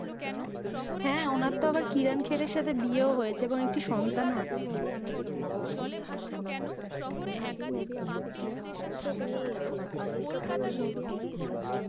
হ্যাঁ, ওনার তো আবার কিরান খের এর সাথে বিয়ে ও হয়েছে এবং একটি সন্তান ও আছে, ও আচ্ছা ও আচ্ছা তুমি অনিল কাপুর সম্পর্কে কি জানো?